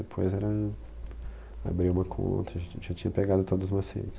Depois era, abrir uma conta, a gente já tinha pegado todos os macetes.